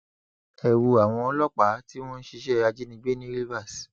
ẹ wo àwọn ọlọpàá tí wọn ń ṣiṣẹ ajínigbé ní rivers